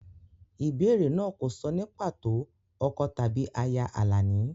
Ìbéèrè náà kò sọ ní pàtó ọkọ tàbí aya Alani.